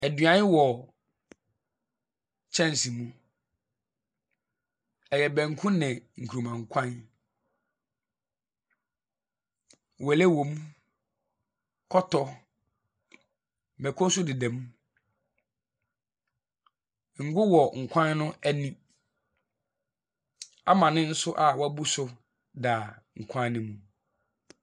Aduane wɔ kyɛnse mu. Ɛyɛ banku ne nkuruma kwan. Wele wɔm, kɔtɔ, mɛko nso deda mu, ngu wɔ nkwan no ɛni. Amane nso a wɛbu so da nkwan ne mu.